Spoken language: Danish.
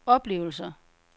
oplevelser